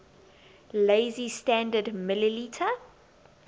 lazy standard ml